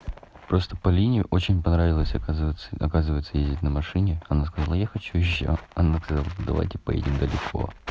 просто полине очень понравилась оказывается оказывается ездить на машине она сказала я хочу ещё она сказала давайте поедим далеко